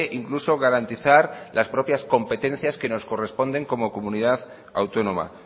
incluso garantizar las propias competencias que nos corresponden como comunidad autónoma